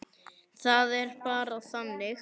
Það er bara þannig.